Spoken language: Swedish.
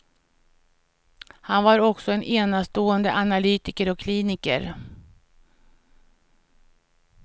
Han var också en enastående analytiker och kliniker.